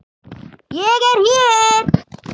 ÉG ER HÉR!